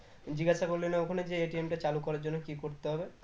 জিজ্ঞেসা করলি না ওখানে যে টা চালু করার জন্য কি করতে হবে?